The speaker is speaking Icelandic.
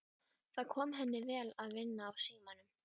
Það kom henni vel að vinna á símanum.